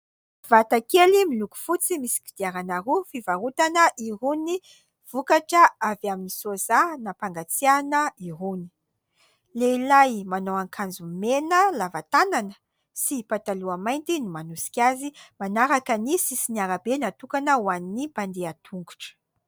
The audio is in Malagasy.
Vata kely miloko fotsy misy kodiarana roa fivarotana irony vokatra avy amin'ny soja nampangatsiahana irony. Lehilahy manao akanjo mena lava tanana sy pataloha mainty no manosika azy manaraka ny sisin'ny arabe natokana ho an'ny mpandeha tongotra.